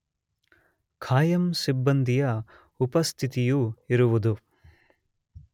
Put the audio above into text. ಕಾಯಂ ಸಿಬ್ಬಂದಿಯ ಉಪಸ್ಥಿತಿಯು ಇರುವುದು